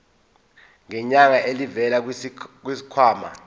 ngenyanga elivela kwisikhwama